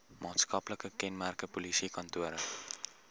maatskaplike kenmerke polisiekantore